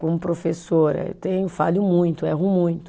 Como professora eu tenho, falho muito, erro muito.